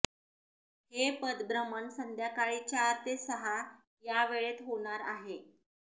हे पदभ्रमण संध्याकाळी चार ते सहा या वेळेत होणार आहे